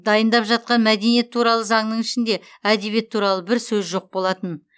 дайындап жатқан мәдениет туралы заңның ішінде әдебиет туралы бір сөз жоқ болатын